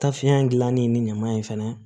Tafeya in gilanni ni ɲaman in fana